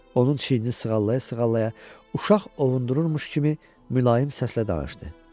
Onun çiynini sığallaya-sığallaya uşaq ovundururmuş kimi mülayim səslə danışdı: